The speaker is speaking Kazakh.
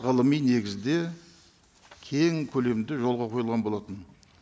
ғылыми негізде кең көлемде жолға қойылған болатын